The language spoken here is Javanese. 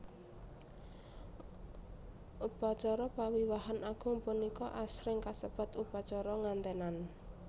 Upacara pawiwahan agung punika asring kasebat upacara nganténan